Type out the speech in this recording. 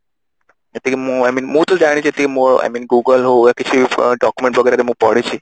ଯେତିକି ମୁଁ I mean ମୁଁ ତ ଜାଣିଛି ମୋ ଯେତିକି I mean google ହଉ ବା କିଛି ବି document ବଗେରା ମୁଁ ପଢିଛି